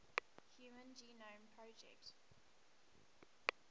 human genome project